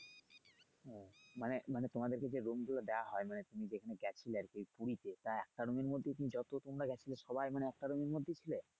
মানে মানে তোমাদেরকে কি যে room গুলো দেয়া হয় মানে তুমি যেখানে গেছিলে আরকি পুরিতে তা একটা room এর মধ্যেই কি যত তোমরা গেছিলে সবাই মানে একটা room এর মধ্যেই ছিলে?